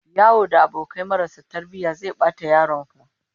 Yawo da abokai marasa tarbiyya zai bata yaron ka